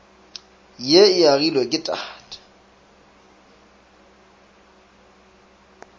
ye e agilwe ke tate